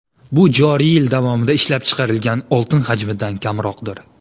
Bu joriy yil davomida ishlab chiqarilgan oltin hajmidan kamroqdir.